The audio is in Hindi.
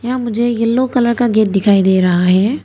यहां मुझे येलो कलर का गेट दिखाई दे रहा है।